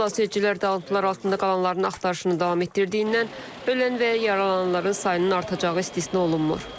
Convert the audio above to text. Xilasedicilər dağıntılar altında qalanların axtarışını davam etdirdiyindən ölən və yaralananların sayının artacağı istisna olunmur.